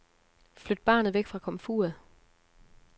Flyt barnet væk fra komfuret.